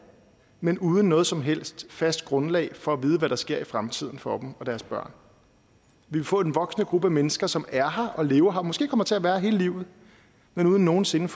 men uden noget som helst fast grundlag for at vide hvad der vil ske i fremtiden for dem og deres børn vi vil få en voksende gruppe af mennesker som er her og lever her og måske kommer til at være her hele livet men uden nogen sinde